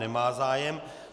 Nemá zájem.